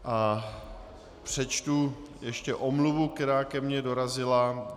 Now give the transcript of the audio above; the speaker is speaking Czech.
A přečtu ještě omluvu, která ke mně dorazila.